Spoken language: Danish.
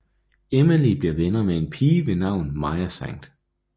Emily bliver venner med en pige ved navn Maya St